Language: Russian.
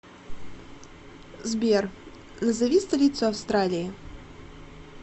сбер назови столицу австралии